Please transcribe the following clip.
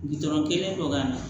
kelen don ka na